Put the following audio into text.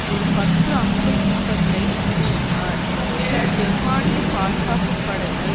ஒரு பத்து அம்சத் திட்டத்தை கூறினார் இதில் ஜெர்மனிய பாதுகாப்பு படைகள்